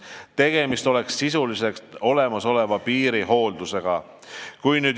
Tegemist oleks sisuliselt olnud olemasoleva piiri hooldusega.